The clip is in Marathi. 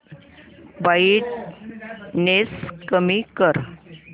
ब्राईटनेस कमी कर